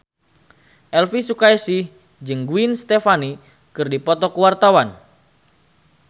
Elvi Sukaesih jeung Gwen Stefani keur dipoto ku wartawan